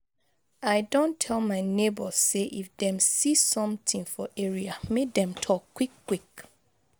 I don tel my nebors say if dem see somtin for area, make dem talk quick quick.